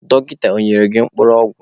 Dọkịta ọ nyere gị mkpụrụ ọgwụ?